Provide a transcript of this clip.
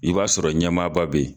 I b'a sɔrɔ ɲɛmaaba bɛ ye.